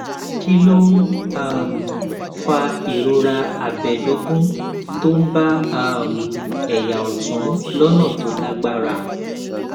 kí ló ń um fa ìrora abẹdógún tó ń bá um ẹyà ọtún lọnà tó lágbára